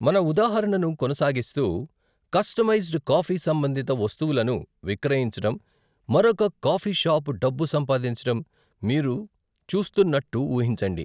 మన ఉదాహరణను కొనసాగిస్తూ, కస్టమైజ్డ్ కాఫీ సంబంధిత వస్తువులను విక్రయించడం మరొక కాఫీ షాప్ డబ్బు సంపాదించడం మీరు చూస్తున్నట్టు ఊహించండి.